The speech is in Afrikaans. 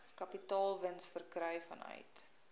kapitaalwins verkry vanuit